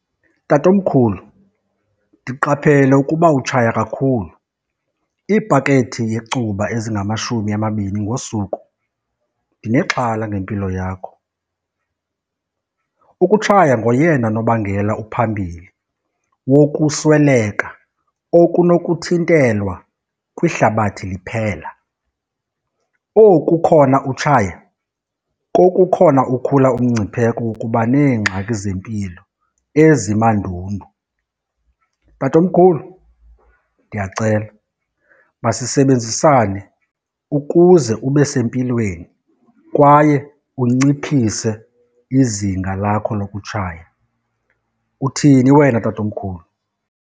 Tatomkhulu, ndiqaphele ukuba utshaya kakhulu iipakethi yecuba ezingamashumi amabini ngosuku. Ndinexhala ngempilo yakho. Ukutshaya ngoyena nobangela uphambili wokusweleka okunokuthintelwa kwihlabathi liphela. Oku khona utshaya kokukhona ukhula umngcipheko wokuba neengxaki zempilo ezimandundu. Tatomkhulu, ndiyacela, masisebenzisane ukuze ube sempilweni kwaye unciphise izinga lakho lokutshaya. Uthini wena, Tatomkhulu?